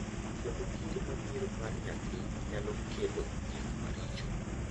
kendo kinde mabiro mar nyathi nyalo kelo gik maricho ,